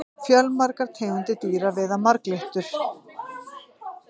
fjölmargar tegundir dýra veiða marglyttur